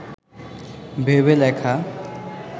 ভেবে লেখা